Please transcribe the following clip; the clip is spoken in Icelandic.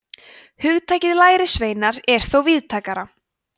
hugtakið lærisveinar er þó víðtækara